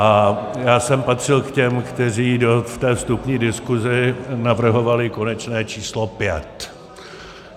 A já jsem patřil k těm, kteří v té vstupní diskuzi navrhovali konečné číslo pět.